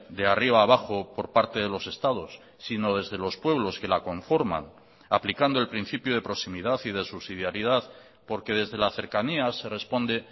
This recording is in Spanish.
de arriba a abajo por parte de los estados sino desde los pueblos que la conforman aplicando el principio de proximidad y de subsidiaridad porque desde la cercanía se responde